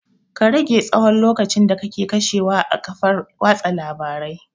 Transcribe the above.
Ka rage tsahon lokacin da kake kashewa a kafar watsa labarai